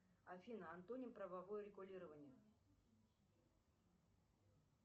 афина антоним правовое регулирование